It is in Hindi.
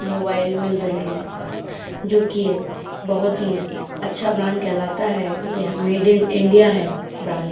मोबाइल मिल रहे हैं जो कि ये बहुत ही अच्छा ब्रांड कहलाता है यह मेड इन इंडिया है ब्रांड --